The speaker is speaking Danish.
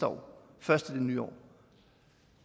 komme først i det nye år